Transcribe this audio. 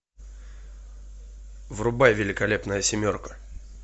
врубай великолепная семерка